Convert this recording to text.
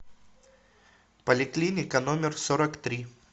поликлиника номер сорок три